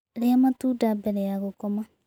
Rĩa matunda bere ya gũkoma